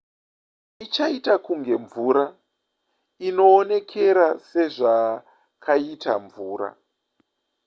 ichaita kunge mvura inoonekera sezvakaita mvura